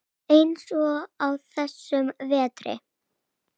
Eins og á þessum vetri.